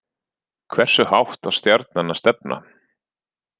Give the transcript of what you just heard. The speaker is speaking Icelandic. Hversu hátt á Stjarnan að stefna